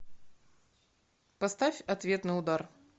поставь ответный удар